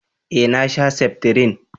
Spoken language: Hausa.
eh na sha seftrin